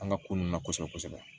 An ka ko nun na kosɛbɛ kosɛbɛ